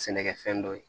Sɛnɛkɛfɛn dɔ ye